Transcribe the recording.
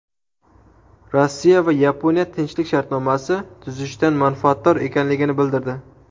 Rossiya va Yaponiya tinchlik shartnomasi tuzishdan manfaatdor ekanligini bildirdi.